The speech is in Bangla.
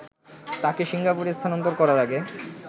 তাকে সিঙ্গাপুরে স্থানান্তর করার আগে